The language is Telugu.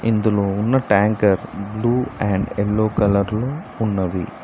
ఇందులో ఉన్న tanker blue and yellow colour లో ఉన్నది.